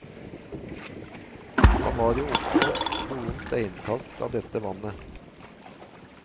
Han var jo oppvokst noen steinkast fra dette vannet.